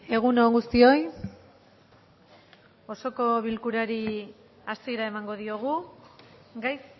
egun on guztioi osoko bilkurari hasiera emango diogu gai